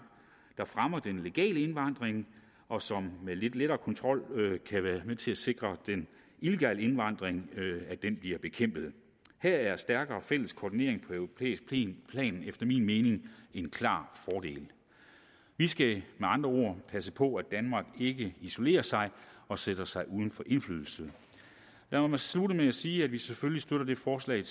der fremmer den legale indvandring og som med lidt lettere kontrol kan være med til at sikre at den illegale indvandring bliver bekæmpet her er stærkere fælles koordinering på europæisk plan efter min mening en klar fordel vi skal med andre ord passe på at danmark ikke isolerer sig og sætter sig uden for indflydelse lad mig slutte med at sige at vi selvfølgelig støtter det forslag